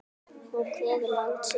Hún kveður land sitt.